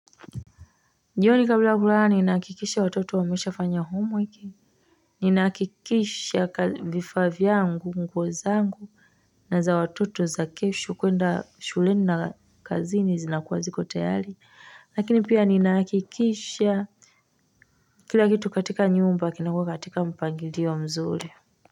Jioni kabla ya kulaa ninaakikisha watoto wamesha fanya homeweki ninaakikisha vifavyangu nguozangu na za watoto za kesho kuenda shuleni na kazini zinakuwa ziko tayari lakini pia ninahakikisha kila kitu katika nyumba kinakua katika mpangilio mzuri.